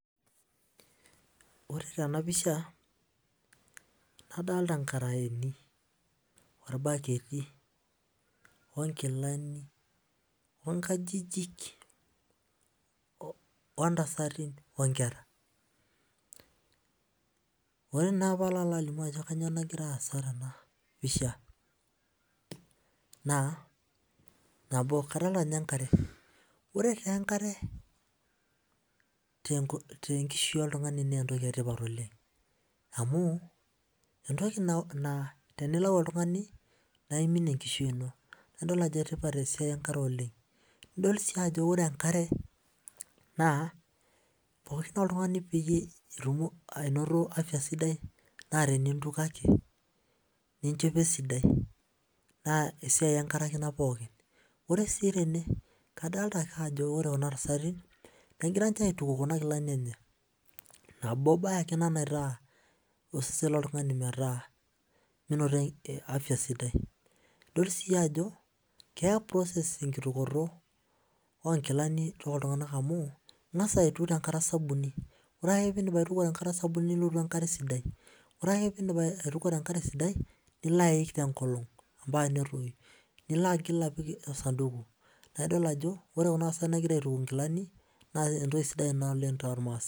Ore tenapisha nadolita nkaraeni orbaketi onkilani onkajijik ontasati onkera ore na palo alimu ajo kanyio nagira aasa tenapisha na nabo nabo kadolita enkare ore enkare na entoki etipat oleng amu entoki naa tenilau oltungani nilau enkishui ino nidol si ajo enkare naapooki naa oltungani pitumoki ainoto afya sidai tenisujare enkare ninchopo enkare na esiai enkare ake ore si tene kadolita ajo ore kuna tasati negira aituku nkilani enye nabo nagira afya sidai nidil si ajo kesidai enkitukoto onkilani amu ingas aituku tenkare osabuni ore pindip ningil aituku tenkare sidai ore ake pindip aituku tenkare sidai nilo aik netoyu nilo apik osanduku naidol ajo ore kuna tasati nagira aituku nkilani na entoki sida oleng